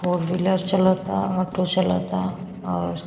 फोर wheeler चलता auto चलता और --